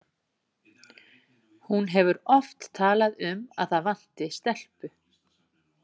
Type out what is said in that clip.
Hún hefur oft talað um að það vanti stelpu.